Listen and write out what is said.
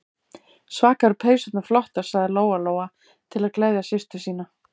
Svaka eru peysurnar flottar, sagði Lóa-Lóa til að gleðja systur sína.